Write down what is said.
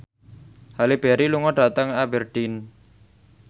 Halle Berry lunga dhateng Aberdeen